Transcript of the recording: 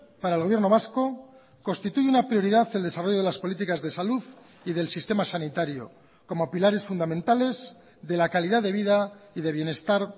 para el gobierno vasco constituye una prioridad el desarrollo de las políticas de salud y del sistema sanitario como pilares fundamentales de la calidad de vida y de bienestar